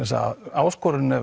áskorunin er